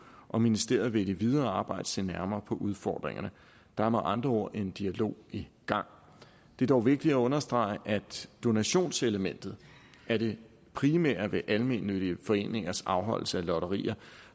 og ministeriet vil i det videre arbejde se nærmere på udfordringerne der er med andre ord en dialog i gang det er dog vigtigt at understrege at donationselementet er det primære ved almennyttige foreningers afholdelse af lotterier